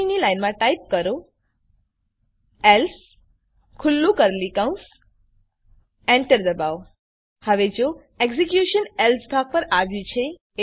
પછીની લાઈનમાં ટાઈપ કરો એલ્સે એન્ટર દબાવો હવે જો એક્ઝીક્યુશન એલ્સ ભાગ પર આવ્યું છે